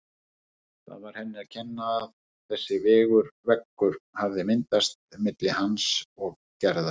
Það var henni að kenna að þessi veggur hafði myndast milli hans og Gerðar.